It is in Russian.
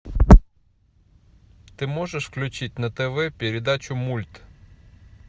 ты можешь включить на тв передачу мульт